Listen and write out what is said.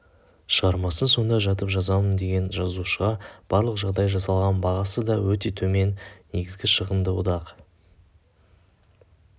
шығармасын сонда жатып жазамын деген жазушыға барлық жағдай жасалған бағасы да өте төмен негізгі шығынды одақ